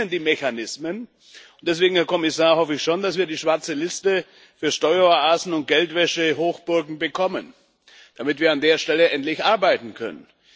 Wir kennen die Mechanismen, und deswegen, Herr Kommissar, hoffe ich schon, dass wir die schwarze Liste für Steueroasen und Geldwäschehochburgen bekommen, damit wir an der Stelle endlich arbeiten können.